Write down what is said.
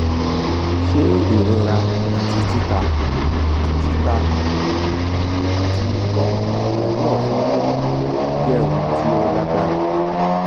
se irora ati tita tita aya ati iko pelu ofun wiwu je ohun ti o lagbara?